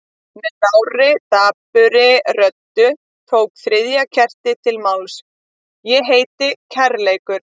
Með lágri, dapurri röddu tók þriðja kertið til máls: Ég heiti kærleikur.